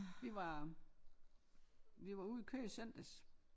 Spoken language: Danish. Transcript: Vi var vi var ude og køre i søndags